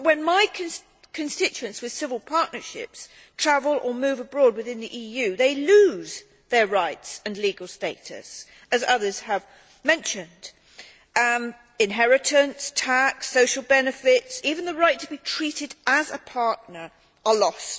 But when my constituents with civil partnerships travel or move abroad within the EU, they lose their rights and legal status, as others have mentioned inheritance, tax, social benefits, even the right to be treated as a partner are lost.